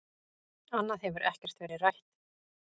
Annað hefur ekkert verið rætt